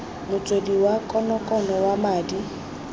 motswedi wa konokono wa madi